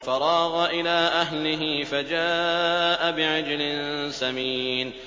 فَرَاغَ إِلَىٰ أَهْلِهِ فَجَاءَ بِعِجْلٍ سَمِينٍ